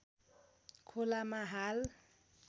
खोलामा हाल